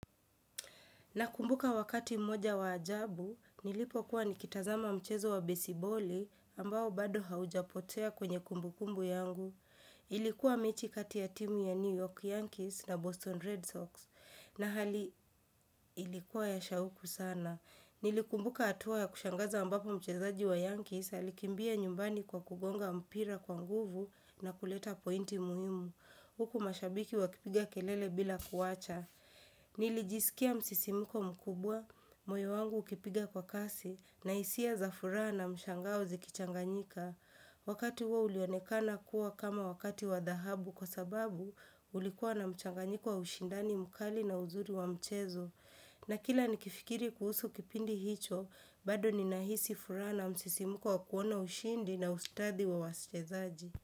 Nakumbuka wakati mmoja wa ajabu, nilipokuwa nikitazama mchezo wa besiboli ambao bado haujapotea kwenye kumbukumbu yangu. Ilikuwa mechi kati ya timu ya New York Yankees na Boston Red Sox na hali ilikuwa ya shauku sana. Nilikumbuka hatua ya kushangaza ambapo mchezaji wa Yankees alikimbia nyumbani kwa kugonga mpira kwa nguvu na kuleta pointi muhimu. Huku mashabiki wakipiga kelele bila kuwacha. Nilijisikia msisimiko mkubwa, moyo wangu ukipiga kwa kasi na hisia za furaha na mshangao zikichanganyika Wakati huo ulionekana kuwa kama wakati wa dhahabu kwa sababu kulikuwa na mchanganyiko wa ushindani mkali na uzuri wa mchezo na kila ni kifikiri kuhusu kipindi hicho, bado ninahisi furaha na msisimiko wa kuona ushindi na ustadhi wa wachezaji.